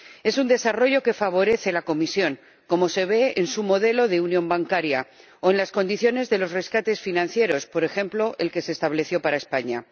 Es un desarrollo que favorece la Comisión, como se ve en su modelo de unión bancaria o en las condiciones de los rescates financieros, por ejemplo el que se estableció para España.